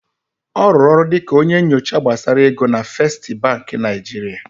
Ọ rụrụ ọrụ dịka onye nyocha gbasara ego na Fesstị Bankị Naịjirịa.